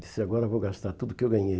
Disse, agora vou gastar tudo o que eu ganhei.